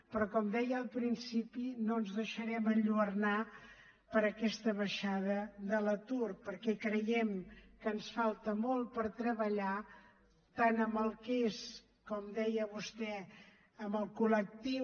però com deia al principi no ens deixarem enlluernar per aquesta baixada de l’atur perquè creiem que ens falta molt per treballar tant en el que és com deia vostè el col·lectiu